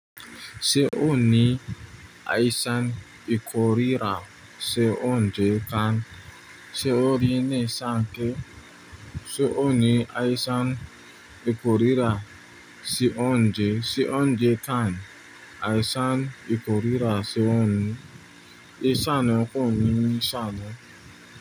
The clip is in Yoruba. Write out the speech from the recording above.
Ṣé o ní àìsàn ìkórira sí oúnjẹ kàn? Ṣé o rí ní ṣánké? Ṣé o ní àìsàn ìkórira sí oúnjẹ? Sí oúnjẹ kàn? Àìsàn ìkórira sí oún- ìṣán ọkàn ni ṣán.